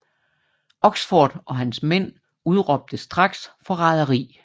Oxford og hans mænd udråbte straks forræderi